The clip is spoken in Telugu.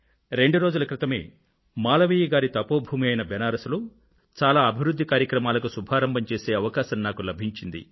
రెండు రోజుల క్రితమే మాలవీయ గారి తపోభూమి అయిన బనారస్ లో చాలా అభివృధ్ధి కార్యక్రమాలను శుభారంభం చేసే అవకాశం నాకు లభించింది